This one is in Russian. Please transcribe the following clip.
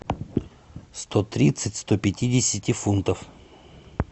сто тридцать сто пятидесяти фунтов